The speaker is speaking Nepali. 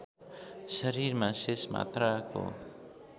शरीरमा शेष मात्राको